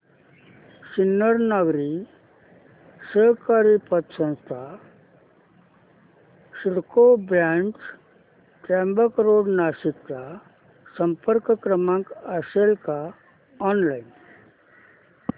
Sinnar Nagari Sahakari Patsanstha CIDCO branch Trimbak road Nashik चा संपर्क क्रमांक असेल का ऑनलाइन